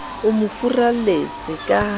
o mo furalletse ka ha